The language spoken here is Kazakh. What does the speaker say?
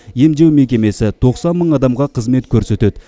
емдеу мекемесі тоқсан мың адамға қызмет көрсетеді